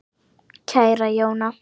Kæra Jóna.